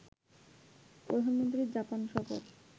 প্রধানমন্ত্রীর জাপান সফর